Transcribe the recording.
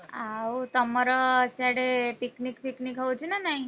ଆଉ ତମର ସିଆଡେ picnic ଫିକନିକ୍ ହଉଛି ନା ନାଇଁ?